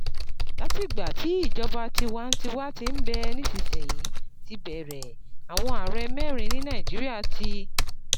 Látìgbà tí ìjọba tiwa-n-tiwa ti ń bẹ nísinsìnyí ti bẹ̀rẹ̀, àwọn ààrẹ mẹ́rin ni Nàìjíríà ti